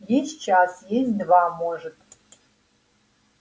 есть час есть два может